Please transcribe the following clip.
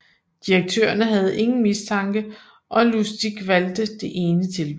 Direktørerne havde ingen mistanke og Lustig valgte det ene tilbud